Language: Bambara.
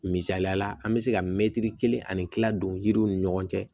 Misaliyala an bɛ se ka mɛtiri kelen ani kila don yiriw ni ɲɔgɔn cɛ